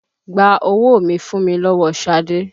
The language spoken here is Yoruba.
Gba owó mi fùn mi lọ́wọ́ Ṣadé!